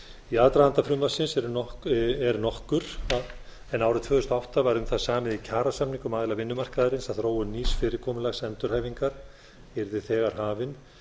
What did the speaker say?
í aðdraganda frumvarpinu er nokkur en árið tvö þúsund og átta var um það samið í kjarasamningum aðila vinnumarkaðarins að þróun nýs fyrirkomulags endurhæfingar yrði þegar hafin